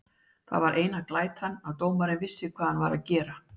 Það var eina glætan að dómarinn vissi hvað hann var að gera.